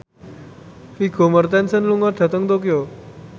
Vigo Mortensen lunga dhateng Tokyo